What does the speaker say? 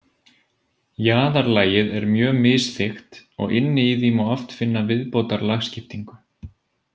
Jaðarlagið er mjög misþykkt og inni í því má oft finna viðbótarlagskiptingu.